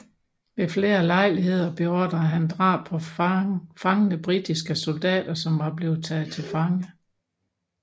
Ved flere lejligheder beordrede han drab på fangne britiske soldater som var blevet taget til fange